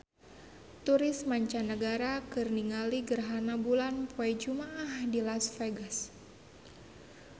Turis mancanagara keur ningali gerhana bulan poe Jumaah di Las Vegas